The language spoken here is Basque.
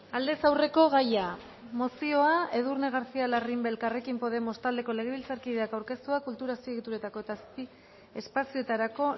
aldez aurreko gaia mozioa edurne garcía larrimbe elkarrekin podemos taldeko legebiltzarkideak aurkeztua kultura azpiegituretako eta azpiespazioetarako